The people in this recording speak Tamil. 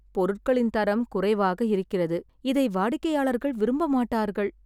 பொருட்களின் தரம் குறைவாக இருக்கிறது, இதை வாடிக்கையாளர்கள் விரும்ப மாட்டார்கள்.